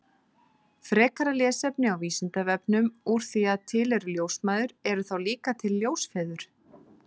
Frekara lesefni á Vísindavefnum Úr því að til eru ljósmæður, eru þá líka til ljósfeður?